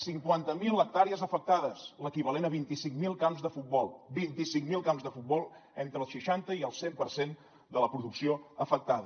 cinquanta mil hectàrees afectades l’equivalent a vint cinc mil camps de futbol vint cinc mil camps de futbol entre el seixanta i el cent per cent de la producció afectada